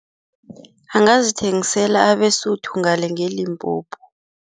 Angazithengisela abeSotho ngale ngeLimpopo.